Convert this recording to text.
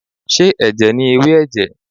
Ṣé ẹ̀jẹ̀ ni ewé ẹ̀jẹ̀?